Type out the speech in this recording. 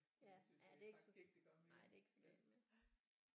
Ja ja det nej det er ikke så galt mere